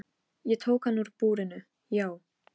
Hróar, hvað er mikið eftir af niðurteljaranum?